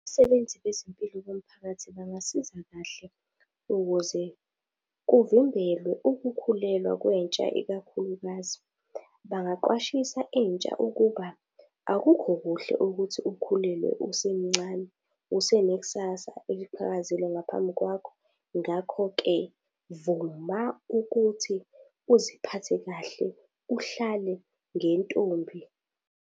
Abasebenzi bezempilo bomphakathi bangasiza kahle ukuze kuvimbelwe ukukhulelwa kwentsha ikakhulukazi. Bangaqwashisa intsha ukuba akukho kuhle ukuthi ukhulelwe usemncane usenekusasa eliqhakazile ngaphambi kwakho. Ngakho-ke vuma ukuthi uziphathe kahle, uhlale ngentombi.